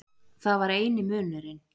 Það var eini munurinn.